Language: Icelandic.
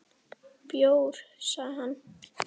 Bjór, sagði hann.